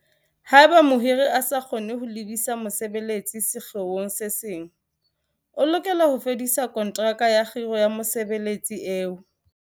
Haeba mohiri a sa kgone ho lebisa mosebeletsi sekgeong se seng, o lokela ho fedisa konteraka ya kgiro ya mosebeletsi eo.